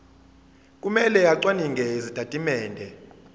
kumele acwaninge izitatimende